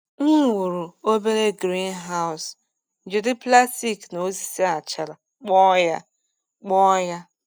M wuru obere greenhouse jiri plastik na osisi achara kpụọ ya. kpụọ ya.